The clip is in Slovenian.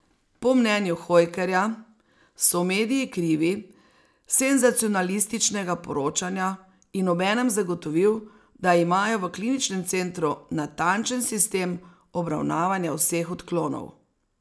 Po mnenju Hojkerja so mediji krivi senzacionalističnega poročanja in obenem zagotovil, da imajo v kliničnem centru natančen sistem obravnavanja vseh odklonov.